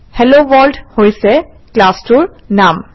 hello world হৈছে ক্লাছটোৰ নাম